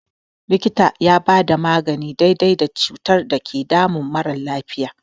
Likita yana bada magani daidai da cutar da ke damun mara lafiya.